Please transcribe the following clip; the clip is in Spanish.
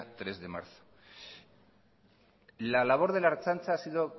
tres de marzo la labor de la ertzaintza ha sido